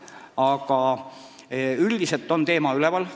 Aga üldiselt on teema üleval.